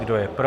Kdo je pro?